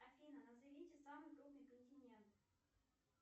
афина назовите самый крупный континент